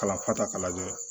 Kalanfa ta k'a lajɛ